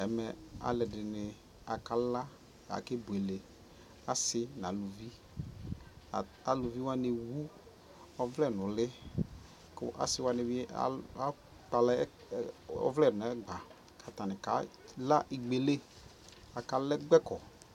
ɛmɛ alʋɛdini aka la, akɛ bʋɛlɛ, asii nʋ alʋvi, alʋvi waniɛwʋ ɔvlɛ nʋ ʋli kʋ asii wani bi akpala ɔvlɛ nʋ ɛgba atani kala ikpɛli atani kala ikpɛkɔ